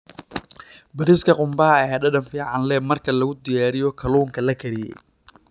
Bariiska qumbaha ayaa dhadhan fiican u leh marka lagu diyaariyo kalluunka la kariyey.